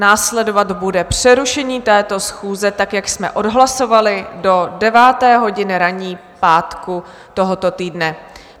Následovat bude přerušení této schůze tak, jak jsme odhlasovali, do 9. hodiny ranní pátku tohoto týdne.